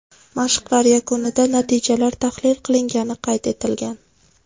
Mashqlar yakunida natijalar tahlil qilingani qayd etilgan.